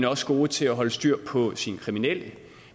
også god til at holde styr på sine kriminelle